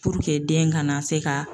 den kana se ka